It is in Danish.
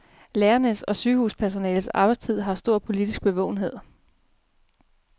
Lærernes og sygehuspersonalets arbejdstid har stor politisk bevågenhed.